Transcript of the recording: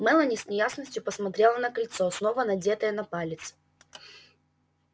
мелани с неясностью посмотрела на кольцо снова надетое на палец